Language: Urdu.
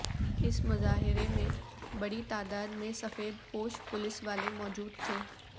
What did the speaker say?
اس مظاہرے میں بڑی تعداد میں سفید پوش پولیس والے موجود تھے